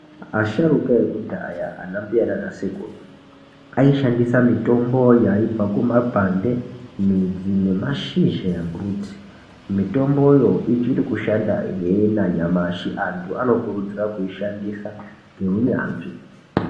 Asharuka ekudhaya ana mbuya nana sekuru ayi shandisa mitombo yaibva ku makwande midzi ne mashizha embuti mitomboyo ichiri kushanda hee na nyamashi antu ano kurudzira kuishandisa nge unyanzvi.